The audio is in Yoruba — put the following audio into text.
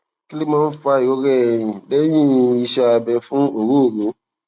kí ló máa ń fa ìrora ẹyìn lehin iṣẹ abẹ fún ọrooro